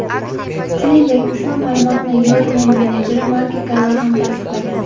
Shuningdek, ushbu ma’lumotni Yoelning menejeri Malki Kava ham tasdiqlagan.